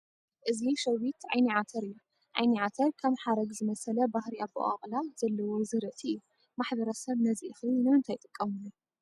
እዚ ሸዊት ዓይኒ ዓተር እዩ፡፡ ዓይኒ ዓተር ከም ሓረግ ዝመሰለ ባህሪ ኣበቋቑላ ዘለዎ ዝርእቲ እዩ፡፡ ማሕበረሰብ ነዚ እኽሊ ንምንታይ ይጥቀመሉ?